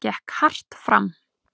Gekk hart fram.